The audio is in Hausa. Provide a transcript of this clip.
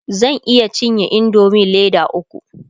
zan iya cinye indomie Leda ukwu